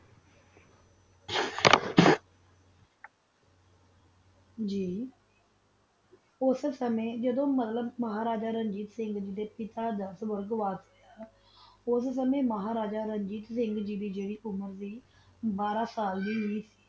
ੱਗ ਓਸ ਸਮਾਜਾਡੋ ਮਹਾ ਰਾਜਾ ਰਣਜੀਤ ਸਿੰਘ ਦਾ ਪਤਾ ਦਾ ਰਾਜ ਗੋਰ੍ਦ੍ਵਾਸ ਸੀ ਓਸ ਸਮਾਂ ਮਹਾਰਾਜਾ ਰਾਜੀਤ ਸਿੰਘ ਦੀ ਉਮੇਰ ਬਾਹਰਾ ਸਾਲ ਸੀ